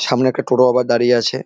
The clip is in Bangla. সামনে একটা টোটো আবার দাড়িয়ে আছে ।